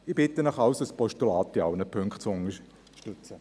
Ich bitte Sie also, das Postulat in allen Punkten zu unterstützen.